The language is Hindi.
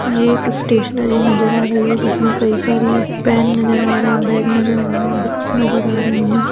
ये एक स्टेशनरी नजर आ रही हैं जिसमें कई सारी पेन नजर आ रहे है बैग नज़र आ रहे है बुक्स नज़र आ रही हैं ।